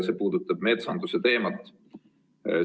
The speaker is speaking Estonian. See puudutab metsanduse teemat.